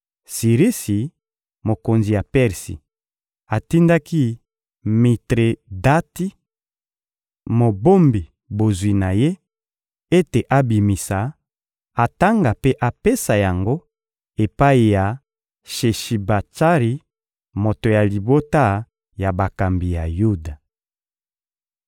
Sirisi, mokonzi ya Persi, atindaki Mitredati, mobombi bozwi na ye, ete abimisa, atanga mpe apesa yango epai ya Sheshibatsari, moto ya libota ya bakambi ya Yuda.